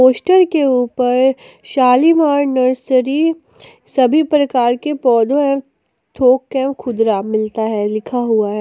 Poster के ऊपर Shalimar nursery सभी प्रकार के पौधों एवं ठोक एवं खुदरा मिलता है लिखा हुआ है।